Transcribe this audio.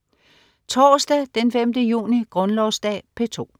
Torsdag den 5. juni - Grundlovsdag - P2: